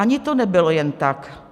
Ani to nebylo jen tak.